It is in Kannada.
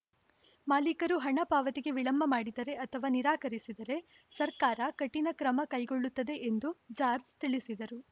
ಮಾಲಿಕರು ಹಣ ಪಾವತಿಗೆ ವಿಳಂಬ ಮಾಡಿದರೆ ಅಥವಾ ನಿರಾಕರಿಸಿದರೆ ಸರ್ಕಾರ ಕಠಿಣ ಕ್ರಮ ಕೈಗೊಳ್ಳುತ್ತದೆ ಎಂದು ಜಾರ್ಜ್ ತಿಳಿಸಿದರು